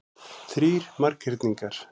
Þrír marghyrningar.